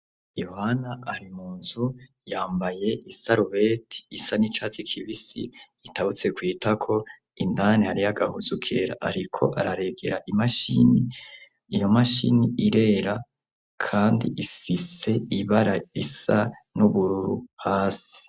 Yohana ari mu nzu yambaye isarubeti isa n'icatsi kibisi itabutse kw'itako. Indani hariyo agahuzu kera ariko araregera imashini. Iyo mashini irera kandi ifise ibara isa n'ubururu hasi.